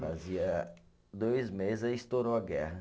Fazia dois meses e aí estourou a guerra.